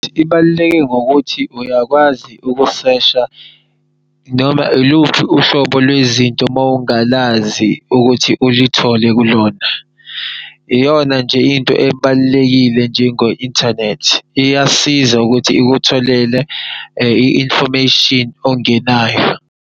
Ibaluleke ngokuthi uyakwazi ukusesha noma iluphi uhlobo lwezinto mawungalazi ukuthi ulithole kulona. Iyona nje into ebalulekile njengo inthanethi iyasiza ukuthi ikutholele i-information ongenayo.